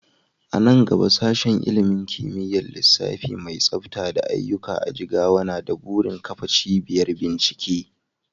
A nan gaba Sashen ilimin kimiyyar lissafi mai tsafta da aiyuka a Jigawa na da burin kafa cibiyar bincike.